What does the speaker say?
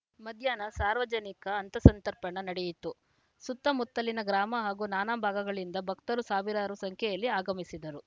ಮಧ್ಯಾಹ್ನ ಸಾರ್ವಜನಿಕ ಅನ್ನಸಂತರ್ಪಣೆ ನಡೆಯಿತು ಸುತ್ತ ಮುತ್ತಲಿನ ಗ್ರಾಮ ಹಾಗೂ ನಾನಾ ಭಾಗಗಳಿಂದ ಭಕ್ತರು ಸಾವಿರಾರು ಸಂಖ್ಯೆಯಲ್ಲಿ ಆಗಮಿಸಿದ್ದರು